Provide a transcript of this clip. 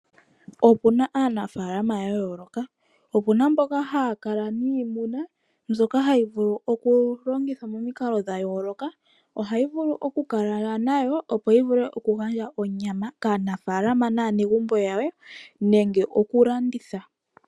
Opuna aanafaalama ya yooloka opuna mboka haya kala niimuna mbyoka hayi vulu okulongithwa momikalo dha yooloka. Ohayi vulu okukalwa nayo opo yi vule okugandja onyama kaanafaalama naanegumbo ye nenge okulanditha.